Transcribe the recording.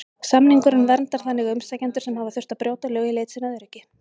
Samningurinn verndar þannig umsækjendur sem hafa þurft að brjóta lög í leit sinni að öryggi.